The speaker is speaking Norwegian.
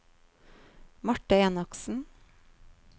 Marthe Enoksen